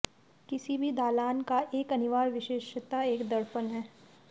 किसी भी दालान का एक अनिवार्य विशेषता एक दर्पण है